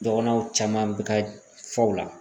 Dɔgɔnɔw caman be ka fɔ u la